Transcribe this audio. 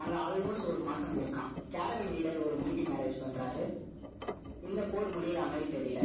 அங்க almost ஒரு மாசம் இருக்கான். Caravan leader ஒரு meeting arrange பண்றாரு. இந்தப் போர் முடியற மாதிரி தெரியல